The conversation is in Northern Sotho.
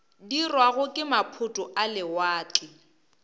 dirwago ke maphoto a lewatle